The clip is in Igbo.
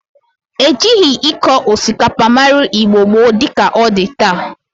Ejirigi ịkọ osikapa mara Igbo gboo di ka ọ dị taa.